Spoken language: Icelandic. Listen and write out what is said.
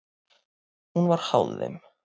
Hún var háð þeim.